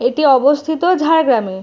এটি অবস্থিত ঝাড়গ্রাম- এ।